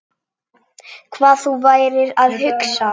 Hvað þú værir að hugsa.